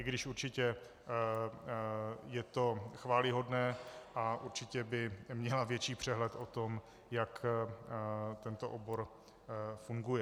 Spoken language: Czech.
I když určitě je to chvályhodné a určitě by měla větší přehled o tom, jak tento obor funguje.